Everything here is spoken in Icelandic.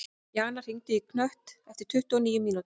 Jana, hringdu í Knött eftir tuttugu og níu mínútur.